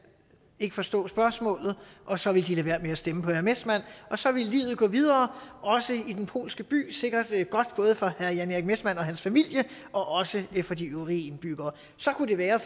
ikke forstå spørgsmålet og så ville de lade være med at stemme på herre messmann og så ville livet gå videre også i den polske by sikkert godt både for herre jan erik messmann og hans familie og også for de øvrige indbyggere så kunne det være at